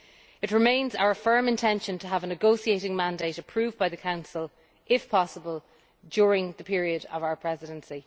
It remains our firm intention to have a negotiating mandate approved by the Council, if possible during the period of our Presidency.